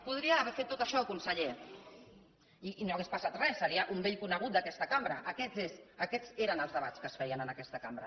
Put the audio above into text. podria haver fet tot això conseller i no hauria passat res seria un vell conegut d’aquesta cambra aquests eren els debats que es feien en aquesta cambra